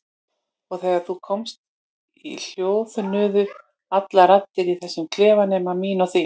Og þegar þú komst hljóðnuðu allar raddir í þessum klefa nema mín og þín.